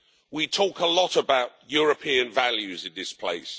We talk a lot about European values in this place.